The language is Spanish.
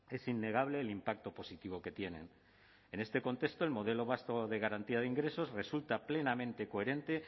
es innegable el impacto positivo que tienen en este contexto el modelo vasco de garantía de ingresos resulta plenamente coherente